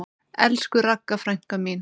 Elsku Ragga frænka mín.